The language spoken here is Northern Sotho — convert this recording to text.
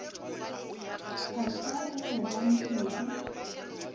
a sa o obamele o